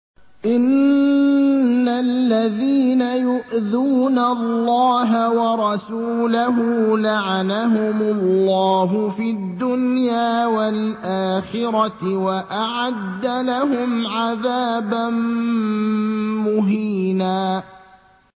إِنَّ الَّذِينَ يُؤْذُونَ اللَّهَ وَرَسُولَهُ لَعَنَهُمُ اللَّهُ فِي الدُّنْيَا وَالْآخِرَةِ وَأَعَدَّ لَهُمْ عَذَابًا مُّهِينًا